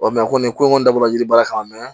nin ko in kɔni dabɔla yiri baara kan mɛ